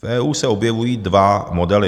V EU se objevují dva modely.